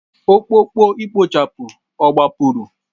Ọkpụkpọ ikpochapụ ọ gbapụrụ?